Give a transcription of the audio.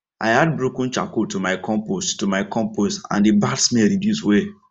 i add broken charcoal to my compost to my compost and the bad smell reduce well